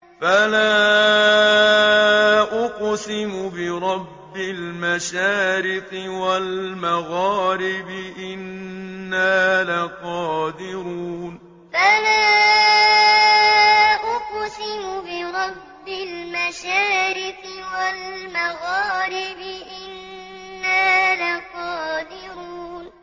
فَلَا أُقْسِمُ بِرَبِّ الْمَشَارِقِ وَالْمَغَارِبِ إِنَّا لَقَادِرُونَ فَلَا أُقْسِمُ بِرَبِّ الْمَشَارِقِ وَالْمَغَارِبِ إِنَّا لَقَادِرُونَ